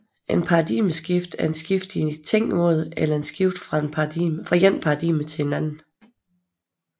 Et paradigmeskift er et skift i tænkemåde eller et skift fra et paradigme til et andet